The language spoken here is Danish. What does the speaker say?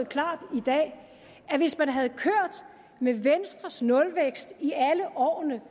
klart i dag at hvis man havde kørt med venstres nulvækst i alle årene